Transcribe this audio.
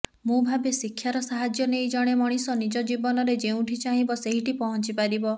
ମୁଁ ଭାବେ ଶିକ୍ଷାର ସାହାଯ୍ୟ ନେଇ ଜଣେ ମଣିଷ ନିଜ ଜୀବନରେ ଯେଉଁଠି ଚାହିଁବ ସେଇଠି ପହଞ୍ଚି ପାରିବ